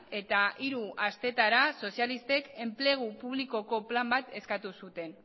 eta hiru astetara sozialistek enplegu publikoko plan bat eskatu zuten